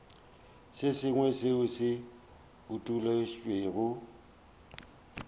se sengwe seo se utolotšwego